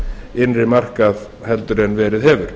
innri markað en verið hefur